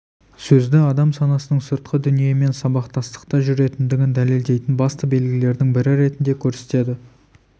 сөзді адам санасының сыртқы дүниемен сабақтастықта жүретіндігін дәлелдейтін басты белгілердің бірі ретінде көрсетеді